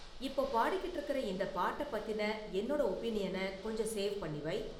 இப்போ பாடிக்கிட்டு இருக்குற இந்த பாட்டை பத்தின என்னோட ஒபினியனை கொஞ்சம் சேவ் பண்ணி வை